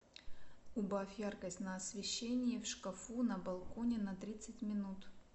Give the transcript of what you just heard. убавь яркость на освещении в шкафу на балконе на тридцать минут